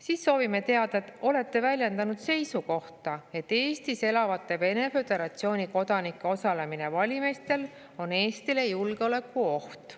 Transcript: " Siis soovime teada: "Olete väljendanud seisukohta, et Eestis elavate Vene Föderatsiooni kodanike osalemine valimistel on Eestile julgeolekuoht.